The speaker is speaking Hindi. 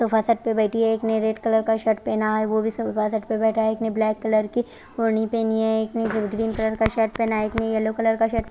तो वो छत्त पर बेठी है एक ने रेड कलर का शर्ट पहना है तो वो भी छत्त पर बेठा है एक ने ब्लैक कलर की होरनी पहनी है एक ने ग्रीन कलर शर्ट पहना है एक ने येल्लो कलर का शर्ट --